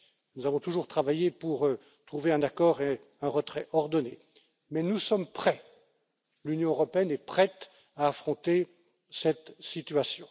Nous avons toujours travaillé pour trouver un accord et un retrait ordonné, mais nous sommes prêts, l'Union européenne est prête à affronter cette situation.